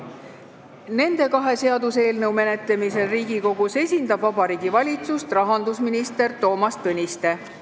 Nende kahe seaduseelnõu menetlemisel Riigikogus esindab Vabariigi Valitsust rahandusminister Toomas Tõniste.